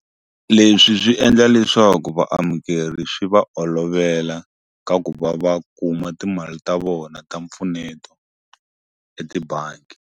Leswi swi endla leswaku vaamukeri xi va olovela ka ku va va kuma timali ta vona ta mpfuneto etibangi.